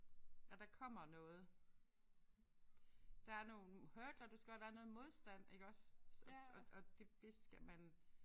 Og der kommer noget. Der er nogle hurdler du skal og der er noget modstand iggås og og og det skal man